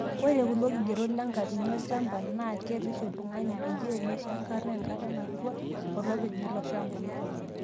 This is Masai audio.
Ore kulo kigerot lenkatini olchampa naa kerish iltung'ana peyie meishankara enkata natua olopeny iloshampa.